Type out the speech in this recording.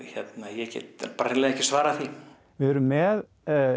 ég get hreinlega ekki svarað því við erum með